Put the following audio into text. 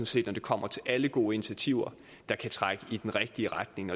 set når det kommer til alle gode initiativer der kan trække i den rigtige retning